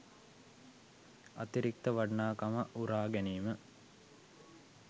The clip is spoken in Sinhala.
අතිරික්ත වටිනාකම උරා ගැනීම